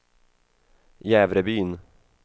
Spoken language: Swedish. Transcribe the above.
Jävrebyn